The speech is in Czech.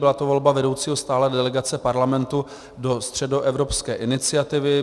Byla to volba vedoucího stálé delegace Parlamentu do Středoevropské iniciativy.